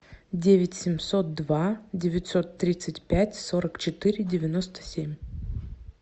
девять семьсот два девятьсот тридцать пять сорок четыре девяносто семь